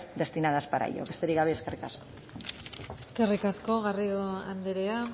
destinadas para ello besterik gabe eskerrik asko eskerrik asko garrido andrea